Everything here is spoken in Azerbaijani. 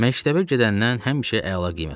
Məktəbə gedəndən həmişə əla qiymət alıb.